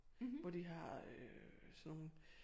Hvor de har øh sådan nogle